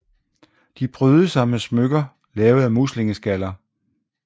De prydede sig med smykker lavet af muslingeskaller